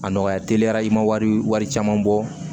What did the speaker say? A nɔgɔya teliya i ma wari caman bɔ